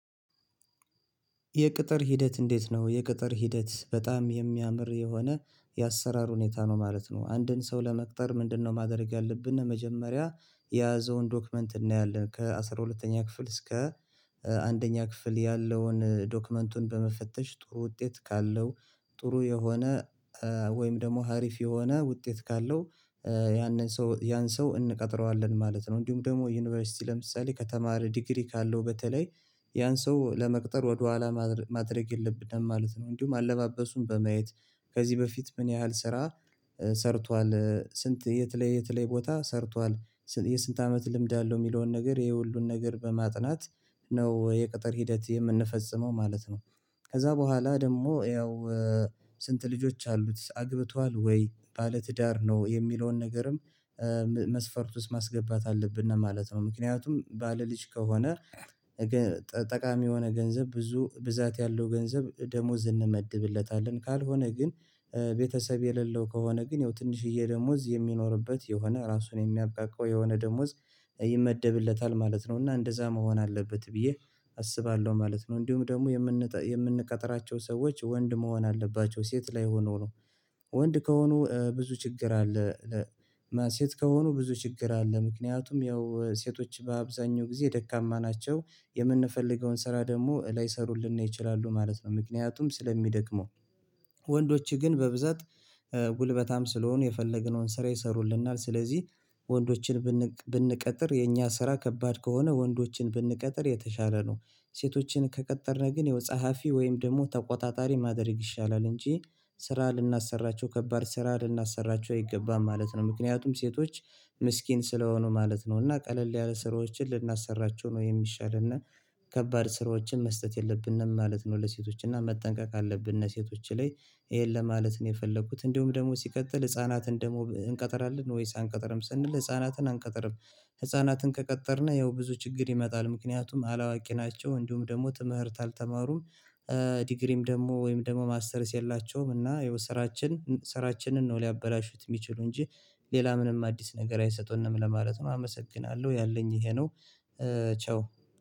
የቅጥር ሂደት እንዴት ነው? የቅጥር ሂደት በጣም የሚያምር የሆነ የአሰራር ሁኔታ ነው ማለት ነው። አንድን ሰው ለመቅጠር ምንድነው? ማድረግ ያለብን መጀመሪያ የያዘውን ዶክመንት እናያለን ከአሥራ ሁለተኛ ክፍል እስከ አንደኛ ክፍል ያለውን ዶክመንቱን በመፈተሽ ጥሩ ውጤት ካለው ጥሩ የሆነ ወይም ደግሞ ሀሪፍ የሆነ ውጤት ካለው ያንን ሰው ያን ሰው እንቀጥረዋለን ማለት ነው። እንዲሁም ደግሞ ዩኒቨርሲቲ ለምሳሌ ከተማረ ዲግሪ ካለው በተለይ ያን ሰው ለመቅጠር ወደኋላ ማድረግ የለብንም ማለት ነው። እንዲሁም አለማበሱን በማየት ከዚህ በፊት ምን ያህል ስራ ሰርቷል ስንት የት ላይ የት ላይ ቦታ ሰርቷል የስንት አመት ልምድ አለው የሚለውን ነገር ይሄ ሁሉን ነገር በማጥናት ነው የቅጥር ሂደት የምንፈጽመው ማለት ነው። ከዛ በኋላ ደግሞ ያው ስንት ልጆች አሉት አግብቷል ወይ? ባለ ትዳር ነው? የሚለውን ነገርም መስፈርት ውስጥ ማስገባት አለብን ነው ማለት ነው። ምክንያቱም ባለልጅ ከሆነ ጠቃሚ የሆነ ገንዘብ ብዙ ብዛት ያለው ገንዘብ ደሞዝ እንመድብለታለን ካልሆነ ግን ቤተሰብ የሌለው ከሆነ ግን ይው ትንሽዬ ደሞዝ የሚኖርበት የሆነ ራሱን የሚያቃቃው የሆነ ደሞዝ ይመደብለታል ማለት ነው። እና እንደዛ መሆን አለበት ብዬ አስባለሁ ማለት ነው። እንዲሁም ደግሞ የምንቀጥራቸው ሰዎች ወንድ መሆን አለባቸው ሴት ላይ ሆኖ ነው ወንድ ከሆኑ ብዙ ችግር አለ። ሴት ከሆኑ ብዙ ችግር አለ ምክንያቱም ያው ሴቶች በአብዛኛው ጊዜ ደካማ ናቸው የምንፈልገውን ስራ ደግሞ ላይሰሩልን ነው ይችላሉ ማለት ነው። ምክንያቱም ስለሚደክመው ወንዶች ግን በብዛት ጉልበታም ስለሆኑ የፈለገነውን ስራ ይሰሩልናል ስለዚህ ወንዶችን ብንቀጥር የኛ ስራ ከባድ ከሆነ ወንዶችን ብንቀጥር የተሻለ ነው። ሴቶችን ከቀጠረ ግን ፀሀፊ ወይም ደግሞ ተቆጣጣሪ ማድረግ ይሻላል እንጂ ስራ ልናሰራቸው ከባድ ስራ ልናሰራቸው አይገባም ማለት ነው ምክንያቱም ሴቶች ምስኪን ስለሆኑ ማለት ነው እና ቀለል ያለ ስራዎችን ልናሰራቸው ነው የሚሻል እና ከባድ ስራዎችን መስጠት የለብንም ማለት ነው። ለሴቶች እና መጠንቀቅ አለብን ለሴቶች ላይ ይሄን ለማለት ነው የፈለኩት። እንዲሁም ደግሞ ሲቀጥል ህፃናትን ደግሞ እንቀጥላለን ወይስ አንቀጥርም? ስንል ህፃናትን አንቀጥርም። ህፃናትን ከቀጠርን ያው ብዙ ችግር ይመጣል ምክንያቱም አላዋቂ ናቸው እንዲሁም ደግሞ ትምህርት አልተማሩም ዲግሪም ደግሞ ወይም ደግሞ ማስተርስ የላቸውም እና ይሀው ስራችን ስራችንን ነው ሊያበላሹት የሚችሉ እንጂ ሌላ ምንም አዲስ ነገር አይሰጡንም ለማለት ነው። አመሰግናለሁ ያለኝ ይሄ ነው። ቻው